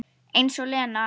Eins og Lena!